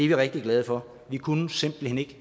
vi rigtig glade for vi kunne simpelt hen ikke